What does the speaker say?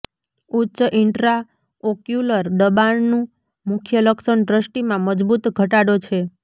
ઉચ્ચ ઇન્ટ્રાઓક્યુલર દબાણનું મુખ્ય લક્ષણ દ્રષ્ટિમાં મજબૂત ઘટાડો છે